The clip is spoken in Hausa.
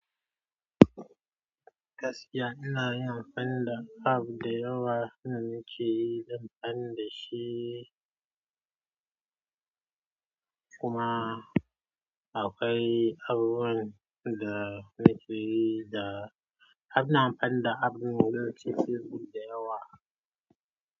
Gaskiya ina yin amfani ab da yawa, na nishi zan fannin da shi kuma akwai abubuwan da na fi yi da, abna fannin ab na nishi fi ɗa yawa.